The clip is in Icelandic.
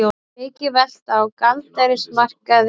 Mikil velta á gjaldeyrismarkaði